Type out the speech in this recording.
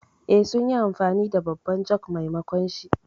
Eh, sun yi amfani da babban jug maimakonshi.